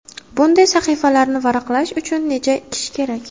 Bunday sahifalarni varaqlash uchun necha kishi kerak?